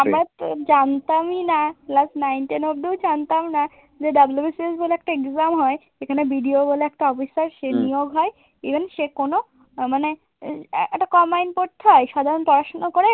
আমরা তো জানতামই না, ক্লাস নাইন, টেন অব্দিও জানতাম না যে WBCS বলে একটা exam হয় সেখানে BDO বলে একটা officer সে নিয়োগ হয় even সে কোন আ মানে একটা combind পড়তে হয় সাধারণ পড়শোনা করে